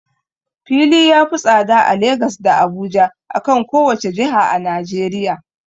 Fili ya fi tsada a Lagas da Abuja, akan kowace jiha a najeriya.